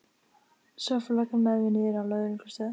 Svo fór löggan með mig niður á lögreglustöð.